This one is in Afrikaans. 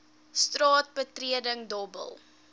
straat betreding dobbel